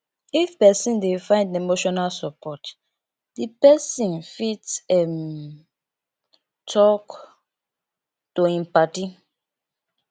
if person dey find emotional support di person fit um talk to im paddi